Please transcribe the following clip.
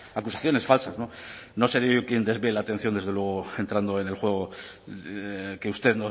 acusaciones falsas no seré yo quien desvíe la atención desde luego entrando en el juego que usted